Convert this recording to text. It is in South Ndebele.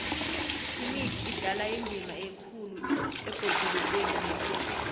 imithi idlala indima ekhulu ebhodulukweni lekhethu